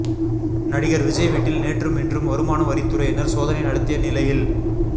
நடிகர் விஜய் வீட்டில் நேற்றும் இன்றும் வருமான வரித்துறையினர் சோதனை நடத்திய நிலையில்